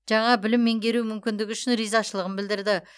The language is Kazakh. жаңа білім меңгеру мүкіндігі үшін ризашылығын білдірді